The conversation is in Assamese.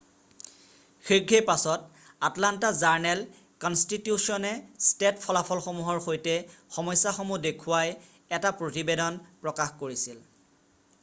শীঘ্ৰেই পাছত আটলান্টা জাৰ্ণেল-কনষ্টিটিউছনে টেষ্ট ফলাফলসমূহৰ সৈতে সমস্যাসমূহ দেখুৱাই এটা প্ৰতিবেদন প্ৰকাশ কৰিছিল৷